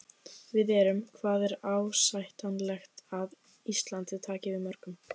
Við erum, hvað er ásættanlegt að Ísland taki við mörgum?